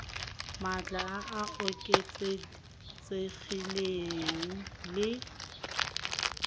maatla a a oketsegileng le